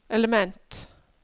element